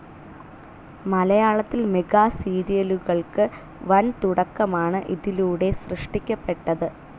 മലയാളത്തിൽ മെഗാസീരിയലുകൾക്ക് വൻതുടക്കമാണ് ഇതിലൂടെ സൃഷ്ടിക്കപ്പെട്ടത്.